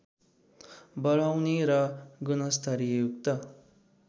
बढाउने र गुणस्तरयुक्त